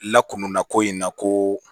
Lakana ko in na ko